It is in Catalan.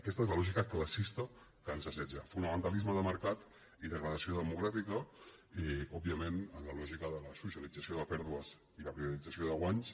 aquesta és la lògica classista que ens assetja fonamentalisme de mercat i degradació democràtica òbviament en la lògica de la socialització de pèrdues i la privatització de guanys